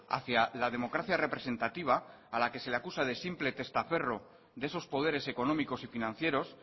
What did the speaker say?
hacia la democracia representativa a la que se le acusa de simple testaferro de esos poderes económicos y financieros